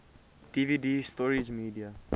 dvd storage media